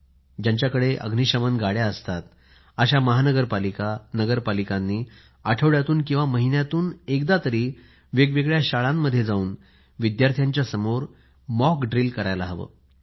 ज्यांच्याकडे अग्नीशमन गाड्या असतात अशा महानगरपालिका नगरपालिकांनी आठवड्यातून किंवा महिन्यातून एकदा वेग वेगळ्या शाळात जाऊन विद्यार्थ्यांसमोर मॉक ड्रील करायला हवं